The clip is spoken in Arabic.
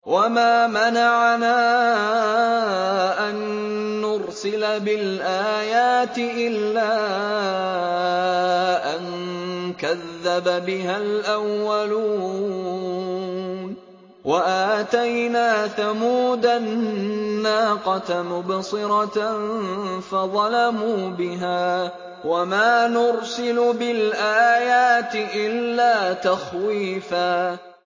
وَمَا مَنَعَنَا أَن نُّرْسِلَ بِالْآيَاتِ إِلَّا أَن كَذَّبَ بِهَا الْأَوَّلُونَ ۚ وَآتَيْنَا ثَمُودَ النَّاقَةَ مُبْصِرَةً فَظَلَمُوا بِهَا ۚ وَمَا نُرْسِلُ بِالْآيَاتِ إِلَّا تَخْوِيفًا